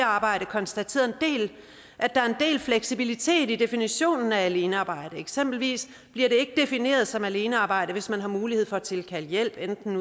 arbejde konstateret at der er en del fleksibilitet i definitionen af alenearbejde eksempelvis bliver det ikke defineret som alenearbejde hvis man har mulighed for at tilkalde hjælp enten